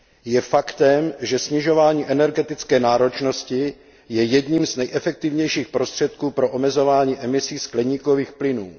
Je faktem, že snižování energetické náročnosti je jedním z nejefektivnějších prostředků pro omezování emisí skleníkových plynů.